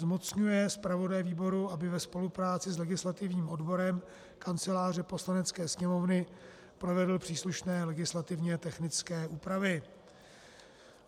Zmocňuje zpravodaje výboru, aby ve spolupráci s legislativním odborem Kanceláře Poslanecké sněmovny provedl příslušné legislativně technické úpravy.